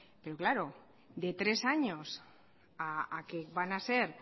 pero claro de tres años a que van a ser